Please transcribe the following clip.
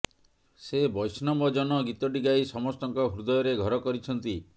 ସେ ବୈଷ୍ଣବ ଜନ ଗୀତଟି ଗାଇ ସମସ୍ତଙ୍କ ହୃଦୟରେ ଘର କରିଛନ୍ତି